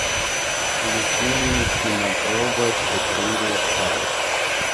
включи мне кинопроба четыре ка